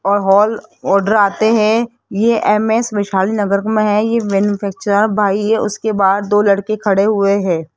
और हॉल ऑर्डर आते हैं ये एम_एस वैशाली नगर में हैं ये मैन्यफैक्चरर भाई ये उसके बाहर दो लड़के खड़े हुए हैं।